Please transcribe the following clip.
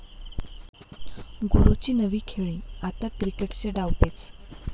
गुरूची नवी खेळी, आता क्रिकेटचे डावपेच!